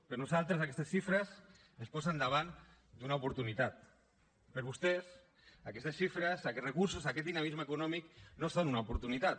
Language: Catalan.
per nosaltres aquestes xifres ens posen davant d’una oportunitat per vostès aquestes xifres aquests recursos aquest dinamisme econòmic no són una oportunitat